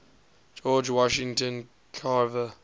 george washington carver